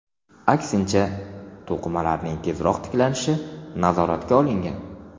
Aksincha, to‘qimalarning tezroq tiklanishini nazoratga olgan.